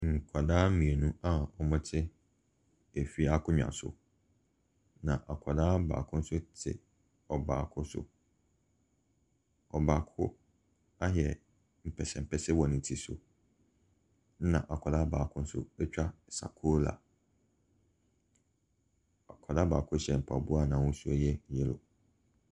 Nkwadaa mmienu a wɔte efi akonnwa so, na akwadaa baako nso te ɔbaako so. Ɔbaako ayɛ mpɛsɛmpɛsɛ wɔ ne ti, ɛna akwadaa baako nso atwa sakora. Akwadaa baako hyɛ mpaboa a n'ahosuo yɛ yellow.